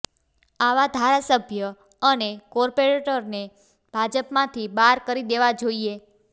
આવા ધારાસભ્ય અને કોર્પોરેટરને ભાજપ માંથી બાર કરી દેવા જોઈએ